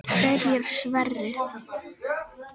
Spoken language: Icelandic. Byrjar Sverrir?